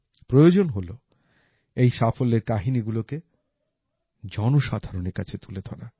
প্রয়োজন হল এই সাফল্যের কাহিনী গুলোকে জনসাধারণের কাছে তুলে ধরা